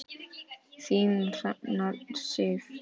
Þín Hrefna Sif.